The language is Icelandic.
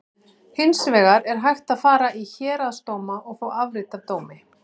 Hins vegar er hægt að fara í héraðsdóma og fá afrit af dómi.